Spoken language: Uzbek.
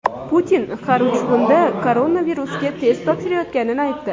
Putin har uch kunda koronavirusga test topshirayotganini aytdi.